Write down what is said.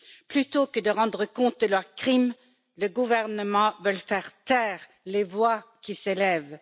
Plutôt que de rendre compte de leurs crimes, les gouvernements veulent faire taire les voix qui s'élèvent.